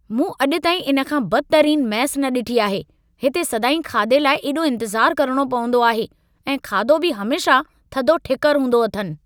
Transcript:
मूं अॼु ताईं इन खां बदतरीनु मैस न ॾिठी आहे। हिते सदाईं खाधे लाइ एॾो इंतज़ारु करणो पवंदो आहे ऐं खाधो बि हमेशह थधो ठिकरु हूंदो अथनि।